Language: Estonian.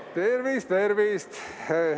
Tervist-tervist!